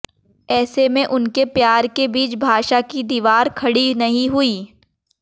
ऐसे में उनके प्यार के बीच भाषा की दीवार खड़ी नहीं हुई